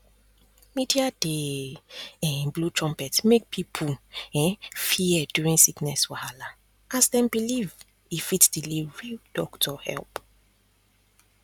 media dey um blow trumpet make people um fear during sickness wahala as dem believe e fit delay real doctor help